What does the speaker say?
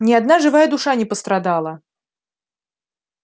ни одна живая душа не пострадала